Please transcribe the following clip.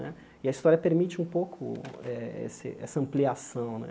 Né e a história permite um pouco eh esse essa ampliação né.